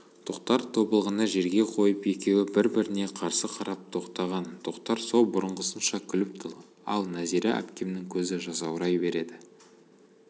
тоқтар тобылғыны жерге қойып екеуі бір-біріне қарсы қарап тоқтаған тоқтар со бұрынғысынша күліп тұр ал нәзира әпкемнің көзі жасаурай береді